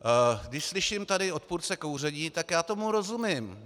Když slyším tady odpůrce kouření, tak já tomu rozumím.